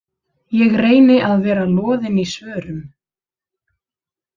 Ég reyni að vera loðin í svörum.